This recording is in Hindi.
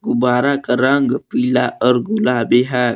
बारा का रंग पीला और गुलाबी है।